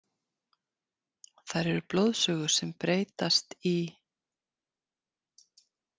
Þær eru blóðsugur sem breytast í.